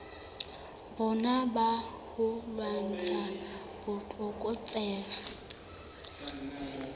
rona ba ho lwantsha botlokotsebe